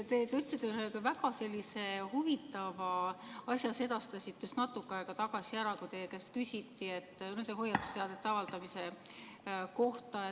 Te ütlesite ühe väga huvitava asja, sedastasite selle just natuke aega tagasi, kui teie käest küsiti hoiatusteadete avaldamise kohta.